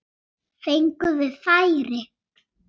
Fengum við færi?